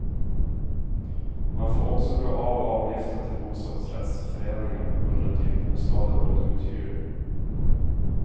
Man får också dra av avgiften till bostadsrättsföreningen under den tid bostaden varit uthyrd.